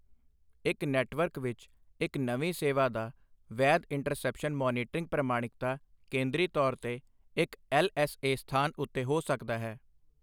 ਇੱਕ ਨੈੱਟਵਰਕ ਵਿੱਚ ਇੱਕ ਨਵੀਂ ਸੇਵਾ ਦਾ ਵੈਧ ਇੰਟਰਸੈਪਸ਼ਨ ਮੌਨੀਟਰਿੰਗ ਪ੍ਰਮਾਣਿਕਤਾ ਕੇਂਦਰੀ ਤੌਰ ਤੇ ਇੱਕ ਐੱਲ ਐੱਸ ਏ ਸਥਾਨ ਉੱਤੇ ਹੋ ਸਕਦਾ ਹੈ।